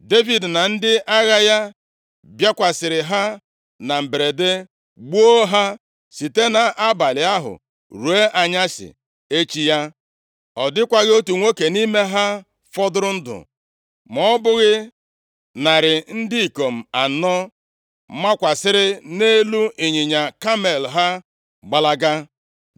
Devid na ndị agha ya bịakwasịrị ha na mberede gbuo ha site nʼabalị ahụ ruo anyasị echi ya. Ọ dịkwaghị otu nwoke nʼime ha fọdụrụ ndụ ma ọ bụghị narị ndị ikom anọ makwasịrị nʼelu ịnyịnya kamel ha gbalaga.